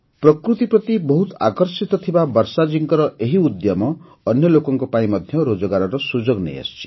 ପ୍ରକୃତି ପ୍ରତି ବହୁତ ଆକର୍ଷିତ ଥିବା ବର୍ଷାଜୀଙ୍କର ଏ ଉଦ୍ୟମ ଅନ୍ୟ ଲୋକମାନଙ୍କ ପାଇଁ ମଧ୍ୟ ରୋଜଗାରର ସୁଯୋଗ ନେଇ ଆସିଛି